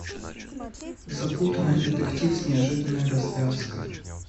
запутанный детектив с неожиданной развязкой